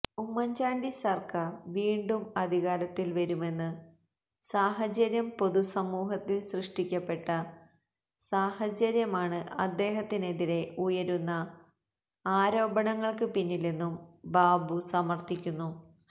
ഉമ്മന്ചാണ്ടി സര്ക്കാര് വീണ്ടും അധികാരത്തില് വരുമെന്ന് സാഹചര്യം പൊതുസമൂഹത്തില് സൃഷ്ടിക്കപ്പെട്ട സാഹചര്യമാണ് അദ്ദേഹത്തിനെതിരെ ഉയരുന്ന ആരോപണങ്ങള്ക്ക് പിന്നിലെന്നും ബാബു സമര്ഥിക്കുന്നു